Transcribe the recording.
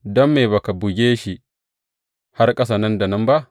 Don me ba ka buge shi har ƙasa nan da nan ba?